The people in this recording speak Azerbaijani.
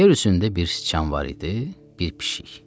Yer üzündə bir sıçan var idi, bir pişik.